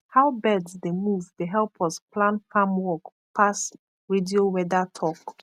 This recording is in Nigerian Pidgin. how birds dey move dey help us plan farm work pass radio weather talk